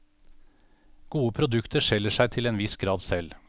Gode produkter selger seg til en viss grad selv.